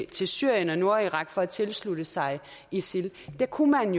til syrien og nordirak for at tilslutte sig isil der kunne man